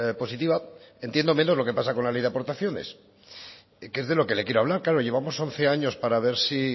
positiva entiendo menos lo que pasa con la ley de aportaciones que es de lo que le quiero hablar claro llevamos once años para ver si